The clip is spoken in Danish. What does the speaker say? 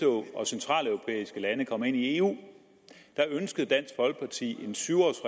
og centraleuropæiske lande kom ind i eu ønskede dansk folkeparti en syv års